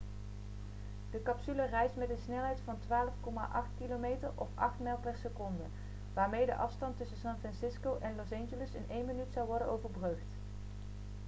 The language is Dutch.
de capsule reist met een snelheid van 12,8 km of 8 mijl per seconde waarmee de afstand tussen san francisco en los angeles in één minuut zou worden overbrugd